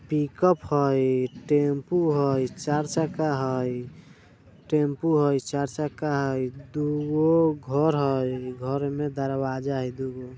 पिक-अप हय टेंपू हय चार चक्का हय टेंपू हय चार चक्का हय दू गो घर हय घर में दरवाज़ा हय दुगो।